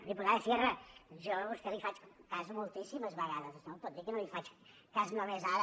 diputada sierra jo a vostè li faig cas moltíssimes vegades no em pot dir que només li faig cas ara